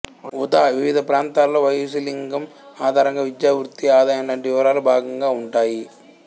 ఉదావివిధ ప్రాంతాలలో వయస్సులింగం ఆధారంగా విద్య వృత్తి ఆదాయం లాంటి వివరాలు భాగంగా ఉంటాయి